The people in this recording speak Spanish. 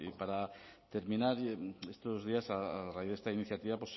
para terminar estos días a raíz de esta iniciativa